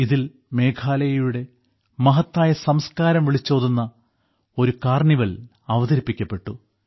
ഇതിൽ മേഘാലയയുടെ മഹത്തായ സംസ്കാരം വിളിച്ചോതുന്ന ഒരു കാർണിവൽ അവതരിപ്പിക്കപ്പെട്ടു